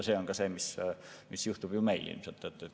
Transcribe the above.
See ongi see, mis juhtub meil.